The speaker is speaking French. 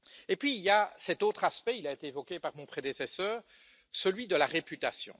Puis il y a cet autre aspect, il a été évoqué par mon prédécesseur, celui de la réputation.